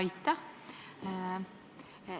Aitäh!